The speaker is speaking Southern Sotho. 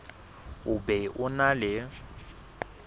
o be o na le